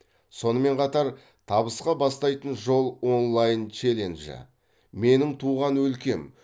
сонымен қатар табысқа бастайтын жол онлайн челленджі менің туған өлкем